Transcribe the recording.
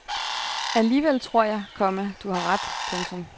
Alligevel tror jeg, komma du har ret. punktum